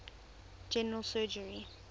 general surgery